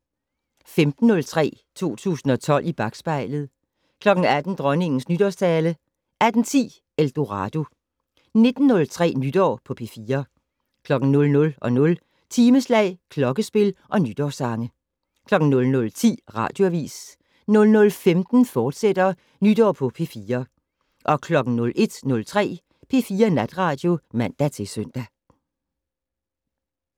15:03: 2012 i bakspejlet 18:00: Dronningens nytårstale 18:10: Eldorado 19:03: Nytår på P4 00:00: Timeslag, klokkespil og nytårssange 00:10: Radioavis 00:15: Nytår på P4, fortsat 01:03: P4 Natradio (man-søn)